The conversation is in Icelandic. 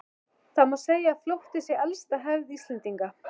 Það má segja að flótti sé elsta hefð Íslendinga.